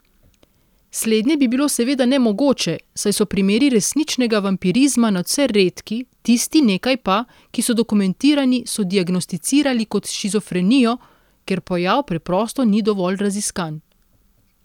Slednje bi bilo seveda nemogoče, saj so primeri resničnega vampirizma nadvse redki, tistih nekaj pa, ki so dokumentirani, so diagnosticirali kot shizofrenijo, ker pojav preprosto ni dovolj raziskan.